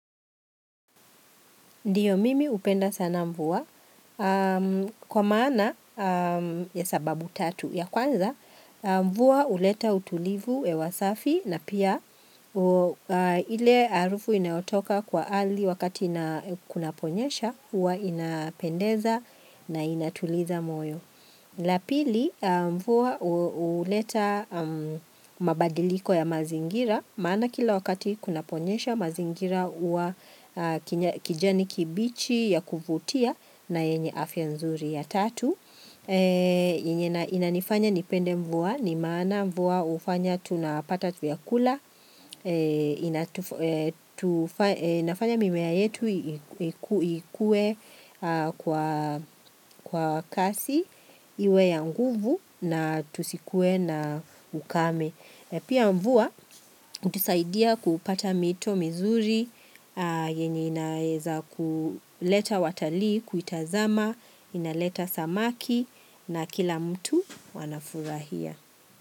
Ndio mimi hupenda sana mvua. Kwa maana ya sababu tatu ya kwanza, mvua huleta utulivu hewa safi na pia ile harufu inayotoka kwa ardhi wakati kunaponyesha, huwa inapendeza na inatuliza moyo. La pili mvua huleta mabadiliko ya mazingira Maana kila wakati kunaponyesha mazingira huwa kijani kibichi ya kuvutia na yenye afya nzuri ya tatu Inanifanya nipende mvua ni maana mvua hufanya tunapata vyakula inafanya mimea yetu ikue kwa kasi Iwe ya nguvu na tusikuwe na ukame Pia mvua hutusaidia kupata mito mizuri yenye inaeza kuleta watalii kuitazama inaleta samaki na kila mtu wanafurahia.